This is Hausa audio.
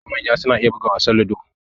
Yara da manya duk suna iya buga wasan ludo.